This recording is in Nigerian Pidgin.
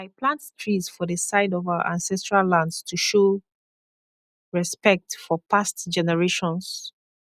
i plant trees for the side of our ancestral lands to show respect for past generations